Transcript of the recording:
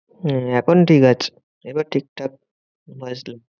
হম এখন ঠিকাছে। এবার ঠিকঠাক voice